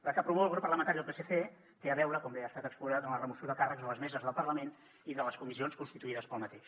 la que promou el grup parlamentari del psc té a veure com bé ha estat exposat amb la remoció de càrrecs a les meses del parlament i de les comissions constituïdes per aquest